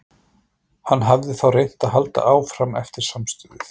Hann hafði þá reynt að halda áfram eftir samstuðið.